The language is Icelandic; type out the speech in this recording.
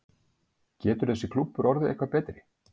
Getur þessi klúbbur orðið eitthvað betri?